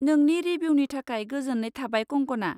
नोंनि रिभिउनि थाखाय गोजोन्नाय थाबाय कंकना।